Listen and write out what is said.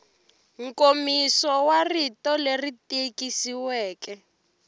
nkomiso wa rito leri tikisiweke